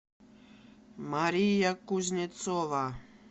мария кузнецова